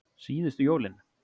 Síðustu jólin.